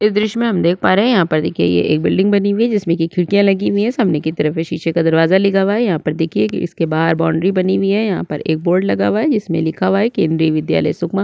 इस दृश्य में हम देख पा रहै है यहाँ पे देखिए ये एक बिल्डिंग बनी हुई है जिसमे की खिड़किया लगी हुई है सामने की तरफ ये शीशे का दरवाजा लगा हुआ हैयहाँ पर देखिए एक इसके बाहर बाउंड्री बनी हुई है यहाँ पर एक बोर्ड लगा हुआ है जिसमे लिखा हुआ है केन्द्रीय विद्यायल सुकमा--